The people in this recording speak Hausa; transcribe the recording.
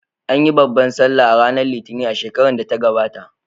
An yi babbar sallah ranar Litinin a shekarar da ta gabata.